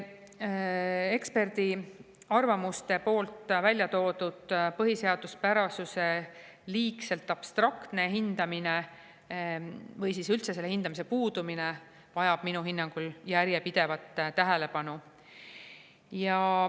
Ekspertarvamustes välja toodud põhiseaduspärasuse liigselt abstraktne hindamine või üldse selle hindamise puudumine vajab minu hinnangul järjepidevat tähelepanu.